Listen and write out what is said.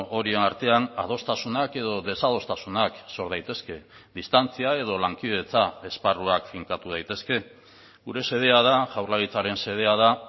horien artean adostasunak edo desadostasunak sor daitezke distantzia edo lankidetza esparruak finkatu daitezke gure xedea da jaurlaritzaren xedea da